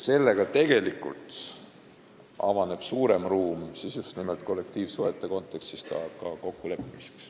Sellega avaneb suurem ruum just nimelt kollektiivsuhete kontekstis kokkuleppimiseks.